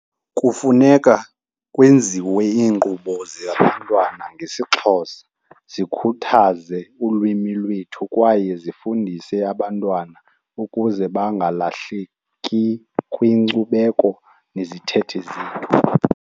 Kufuneka kwenziwe iinkqubo zabantwana ngesiXhosa, zikhuthaze ulwimi lwethu kwaye zifundise abantwana ukuze bangalahleki kwinkcubeko nezithethe .